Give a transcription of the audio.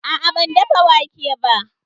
A'a, ban dafa wake ba